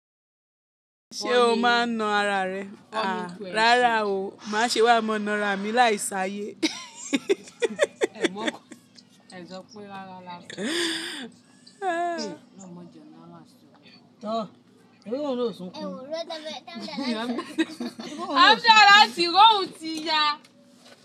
Ṣé o máa ń na ara rẹ? Rárá o, máṣe wá mọ na ara mi láì ṣe ayé. Afusi aláṣí, iro hun ti ya.